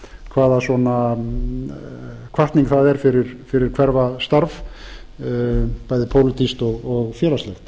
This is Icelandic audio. hvaða hvatning það er fyrir hverfastarf bæði pólitískt og félagslegt